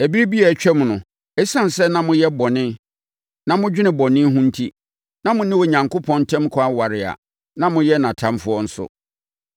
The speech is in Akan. Ɛberɛ bi a atwam no, ɛsiane sɛ na moyɛ bɔne na modwene bɔne ho enti, na mo ne Onyankopɔn ntam kwan ware a na moyɛ nʼatamfoɔ nso.